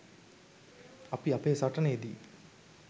අපි අපේ සටනේ දී